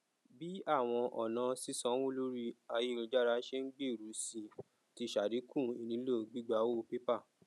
bí àwọn ọnà sísànwó lórí ayélujára ṣe n gbèrú sí i ti ṣàdínkù ìnílò gbígbà owó pépà